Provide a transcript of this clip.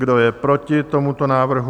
Kdo je proti tomuto návrhu?